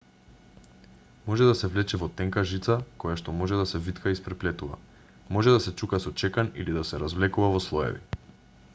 може да се влече во тенка жица којашто може да се витка и испреплетува може да се чука со чекан или да се развлекува во слоеви